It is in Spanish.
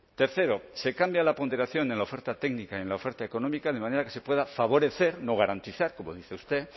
tercero se cambia la ponderación en la oferta técnica en la oferta económica de manera que se pueda favorecer no garantizar como dice usted